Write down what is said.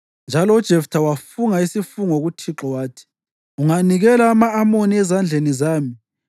Njalo uJeftha wafunga isifungo kuThixo wathi, “Unganikela ama-Amoni ezandleni zami,